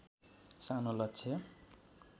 सानो लक्ष्य